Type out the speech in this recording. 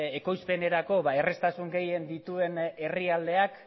ekoizpenerako erraztasun gehien dituen herrialdeak